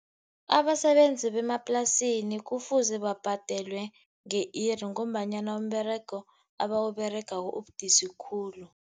Abasebenzi bemaplasini kufuze babhadelwe nge-iri ngombanyana umberego abawuberegako ubudisi khulu.